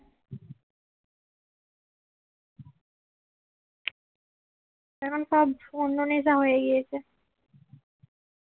এখন সব অন্য নেশা হয়ে গিয়েছে